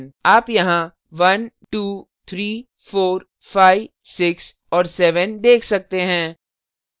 आप यहाँ 123456 और 7 देख सकते हैं